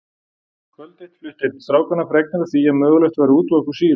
Kvöld eitt flutti einn strákanna fregnir af því að mögulegt væri að útvega okkur sýru.